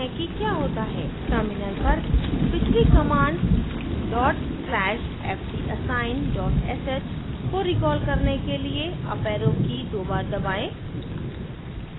terminal पर पिछली command dot slash fdassign dot sh को recall करने के लिए uparrow की दो बार दबाएँ